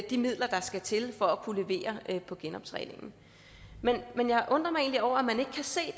de midler der skal til for at kunne levere på genoptræningen men jeg undrer mig over at man ikke kan se